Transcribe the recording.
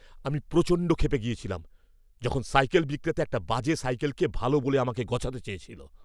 আমি প্রচণ্ড ক্ষেপে গিয়েছিলাম যখন সাইকেল বিক্রেতা একটা বাজে সাইকেলকে ভালো বলে আমাকে গছাতে চাইছিল।